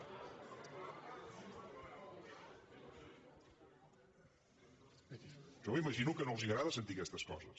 jo m’imagino que no els agrada sentir aquestes coses